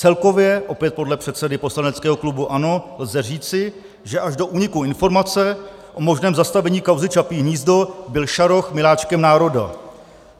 Celkově - opět podle předsedy poslaneckého klubu ANO - lze říci, že až do úniku informace o možném zastavení kauzy Čapí hnízdo byl Šaroch miláčkem národa.